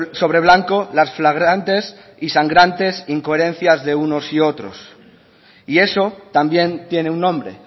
sobre blanco las flagrantes y sangrantes incoherencia de unos y otros y eso también tiene un nombre